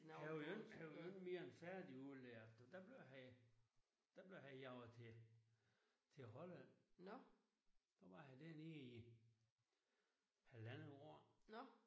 Han var jo ikke han var jo ikke mere end færdigudlært du der blev han der blev han jaget til til Holland der var han dernede i halvandet år